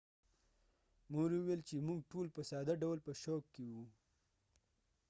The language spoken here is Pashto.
مور یې وویل چې موږ ټول په ساده ډول په شوک کې وو.